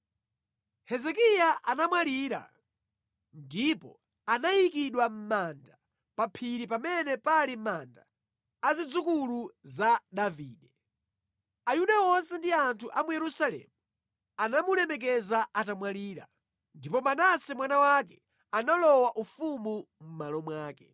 Hezekiya anamwalira ndipo anayikidwa mʼmanda pa phiri pamene pali manda a zidzukulu za Davide. Ayuda onse ndi anthu a mu Yerusalemu anamulemekeza atamwalira. Ndipo Manase mwana wake analowa ufumu mʼmalo mwake.